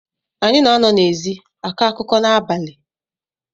Anyị na-anọ n’ezi akọ akụkọ n’abalị